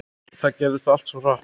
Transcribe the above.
Þetta gerðist allt svo hratt.